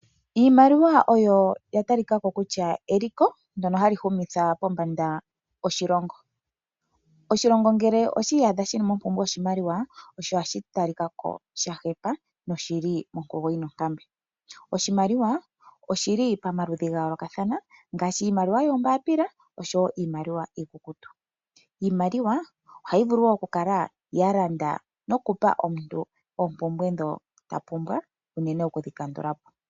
Iimaliwa oyo ya ta li kako kutya eliko ndyono ha li humitha pombanda oshilongo. Oshilongo ngele oshi iyadha shi li mompumbwe yoshimaliwa, osho ohashi ta li kako shahepa noshili monguko yina onkambe. Oshimaliwa oshi li pomaludhi ga yoolokathana, nghaashi iimaliwa yombaapila oshowoo niimaliwa iikukutu. Iimaliwa ohayi vulu okukala yalanda nokupa omuntu oopumbwe ndhi tapumbwa, unene oku dhi kandulapo.